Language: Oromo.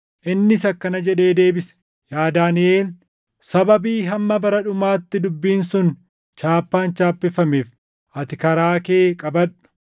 Innis akkana jedhee deebise. “Yaa Daaniʼel, sababii hamma bara dhumaatti dubbiin sun chaappaan chaappeffameef ati karaa kee qabadhu.